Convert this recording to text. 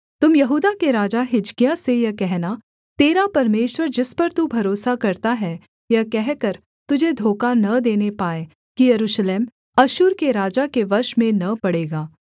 तुम यहूदा के राजा हिजकिय्याह से यह कहना तेरा परमेश्वर जिस पर तू भरोसा करता है यह कहकर तुझे धोखा न देने पाए कि यरूशलेम अश्शूर के राजा के वश में न पड़ेगा